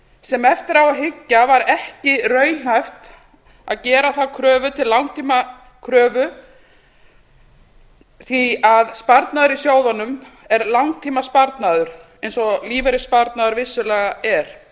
sem eftir á að hyggja var ekki raunhæft það er að gera þá kröfu til langtímakröfu því að sparnaður í sjóðunum er langtímasparnaður eins og lífeyrissparnaður vissulega er